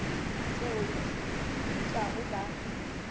t eo di dutlago ba